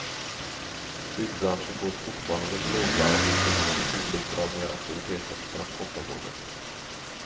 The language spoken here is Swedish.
Byggbranschen går fortfarande på lågvarv, vilket mycket tydligt drar ned aktiviteten på transportområdet.